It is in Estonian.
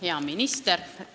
Hea minister!